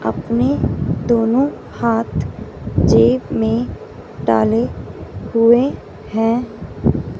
अपनी दोनों हाथ जेब में डाले हुए हैं।